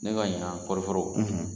Ne ka ɲina kɔɔri foro